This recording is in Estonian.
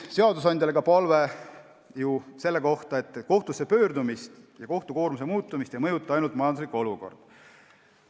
Seadusandjale on palve ka selle tõttu, et kohtusse pöördumisi ja kohtute koormuse muutumist ei mõjuta ainult majanduslik olukord.